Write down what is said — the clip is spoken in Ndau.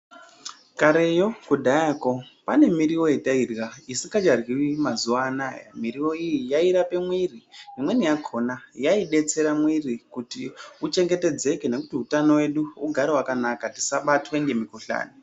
Kareyo, kudhayako, pane miriwo yatairya isikacharyiwi mazuwa anaa. Miriwo iyi yairape mwiri, imweni yakhona yaidetsera mwiri kuti uchengetedzeke, nekuti utano wedu ugare wakanaka, tisabatwe ngemikhuhlane.